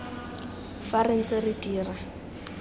fa re ntse re dira